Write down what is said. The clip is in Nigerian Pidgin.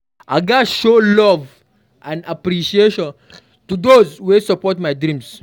I gats show love and appreciation to those wey dey support my dreams.